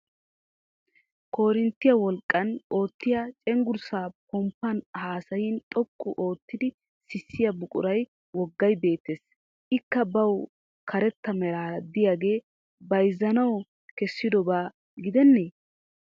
Korinttiya wolqqan oottiya cenggurssa pomppan haasayin xoqqu oottiddi sissiya buquray woggay beettes. Ikka bawu karetta meraara diyagee bayizzanawu kessidoba gidennee?